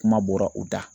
Kuma bɔra u da